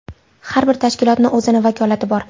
Har bir tashkilotni o‘zini vakolati bor.